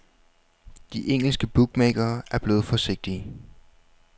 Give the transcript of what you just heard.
De engelske bookmakere er blevet forsigtige.